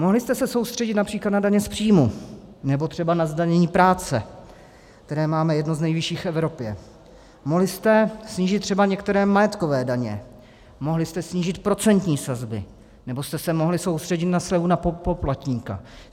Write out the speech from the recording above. Mohli jste se soustředit například na daně z příjmu, nebo třeba na zdanění práce, které máme jedno z nejvyšší v Evropě, mohli jste snížit třeba některé majetkové daně, mohli jste snížit procentní sazby, nebo jste se mohli soustředit na slevu na poplatníka.